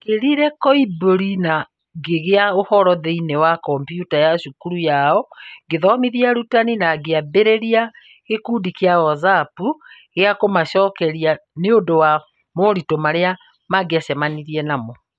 Ndekĩrire Kolibri na ngĩiga ũhoro thĩinĩ wa kompiuta ya cukuru yao, ngĩthomithia arutani, na ngĩambĩrĩria gĩkundi kĩa WhatsAppu gĩa kũmacokeria nĩũndũ wa moritũ marĩa mangĩcemania namo.